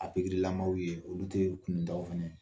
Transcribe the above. A lamaw ye olu tɛ kunutaw fana ye